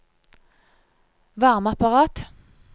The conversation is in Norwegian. varmeapparat